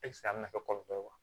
a bɛna kɛ kɔlɔlɔ ye wa